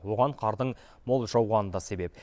оған қардың мол жауғаны да себеп